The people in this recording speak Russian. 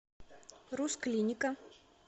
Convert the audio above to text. рус клиника